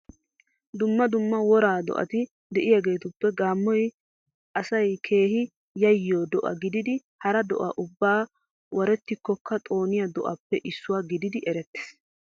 Dumma dumma woraa do'ati de'iyageetuppe gaammoy asay keehi yayyiyo do'a gididi hara do'aa ubbaa warettikkokka xooniya do'aappe issuwa gididi erettees.